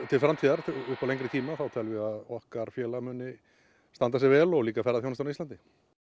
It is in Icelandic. til framtíðar upp á lengri tíma þá teljum við að okkar félag muni standa sig vel og líka ferðaþjónustan á Íslandi